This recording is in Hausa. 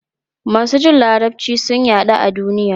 Masu jin Larabci sun yaɗu a duniya.